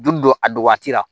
Julu don a don waati la